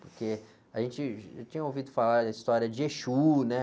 Porque a gente já tinha ouvido falar da história de exú, né?